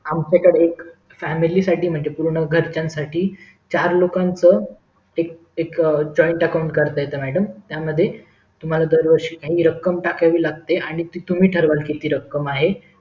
आमच्या कडे एक म्हणजे पुर्ण family साठी म्हणजे घरच्यांसाठी चार लोकांचं एक एक joint account काढता येत त्यामध्ये जर वर्षी तुम्हाला काही रक्कम टाकावी लागते आणि ती तुम्ही ठराव किती रख्खम आहे ती